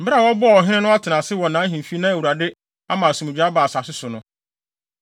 Bere a wɔbɔɔ ɔhene no atenase wɔ nʼahemfi na Awurade ama asomdwoe aba asase no so no,